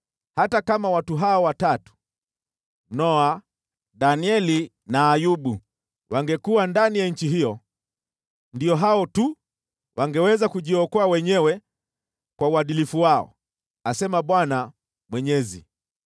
hata kama watu hawa watatu: Noa, Danieli na Ayubu wangekuwa ndani ya nchi hiyo, ndio hao tu wangeweza kujiokoa wenyewe kwa uadilifu wao, asema Bwana Mwenyezi.